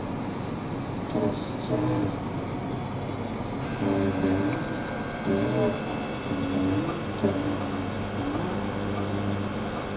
Kristján Már: Og löng bið eftir löndun eða hvað?